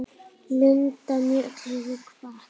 Linda Mjöll hefur kvatt.